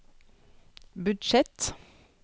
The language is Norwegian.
budsjett